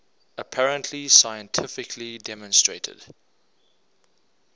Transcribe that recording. apparently scientifically demonstrated